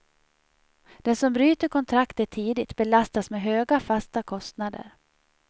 Den som bryter kontraktet tidigt belastas med höga fasta kostnader.